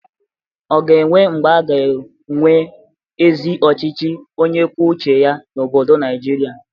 Ọ ga-enwe mgbe a ga-enwe ezi ọchịchị onye kwue uche ya n'obodo Naịjịrịa?